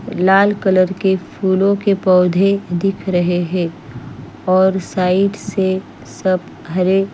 लाल colour के फूलों के पौधे दिख रहे हैं और साइड से सब हरे --